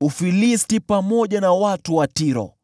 Ufilisti, pamoja na watu wa Tiro.